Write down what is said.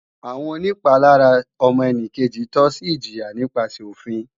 Àwọn onìpalára ọmọnìkejì tọ́ sí ìjìyà nípasẹ̀ òfin